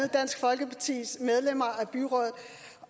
dansk folkepartis medlemmer af byrådet